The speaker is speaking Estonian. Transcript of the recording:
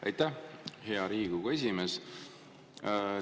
Aitäh, hea Riigikogu esimees!